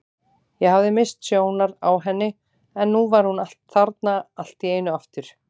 Ég hafði misst sjónar á henni en nú var hún þarna allt í einu aftur.